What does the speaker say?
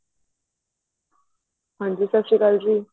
ਹਾਂਜੀ ਸਤਿ ਸ਼੍ਰੀ ਅਕਾਲ ਜੀ